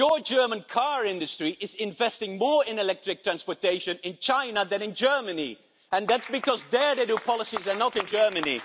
The German car industry is investing more in electric transportation in China than in Germany and that's because there they do policies and not in Germany.